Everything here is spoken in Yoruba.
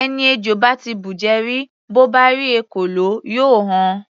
Ẹni ejò bá ti bùjẹ rí, bó bá rí ekòló, yóò họ.